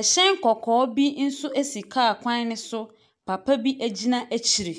Ɛhyɛn kɔkɔɔ bi nso si kaa kwan no so. Papa bi gyina akyire.